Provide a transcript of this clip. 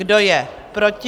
Kdo je proti?